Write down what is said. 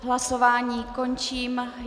Hlasování končím.